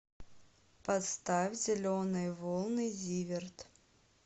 поставь зеленые волны зиверт